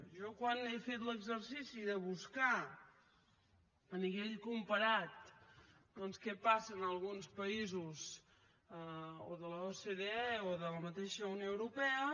jo quan he fet l’exercici de buscar a nivell comparat què passa en alguns països o de l’ocde o de la mateixa unió europea